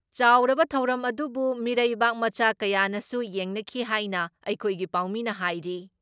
ꯆꯥꯎꯔꯕ ꯊꯧꯔꯝ ꯑꯗꯨꯕꯨ ꯃꯤꯔꯩꯕꯥꯛ ꯃꯆꯥ ꯀꯌꯥꯅꯁꯨ ꯌꯦꯡꯅꯈꯤ ꯍꯥꯏꯅ ꯑꯩꯈꯣꯏꯒꯤ ꯄꯥꯎꯃꯤꯅ ꯍꯥꯏꯔꯤ ꯫